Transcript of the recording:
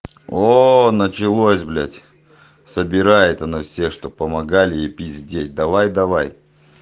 о началось блять собирает она всех чтоб помогали ей пиздеть давай давай